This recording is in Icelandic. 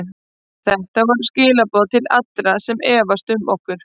Þetta voru skilaboð til allra sem efast um okkur.